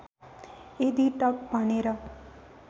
यदि टक् भनेर